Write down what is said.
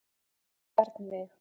Bjarnveig